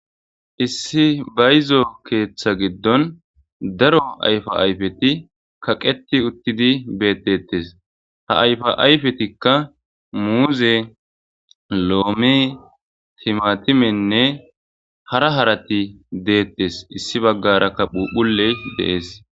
issi bayizo keeththa giddon daro ayfa ayfeti kaqeti uttidi beeteettes ha ayfa ayfetikka muuze loome timatimenne hara harati deettes issi baggarakka phuphuley dees